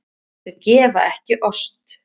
Þau gefa ekki ost.